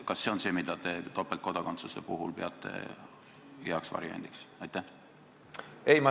Kas see on see, mida te topeltkodakondsuse puhul heaks variandiks peate?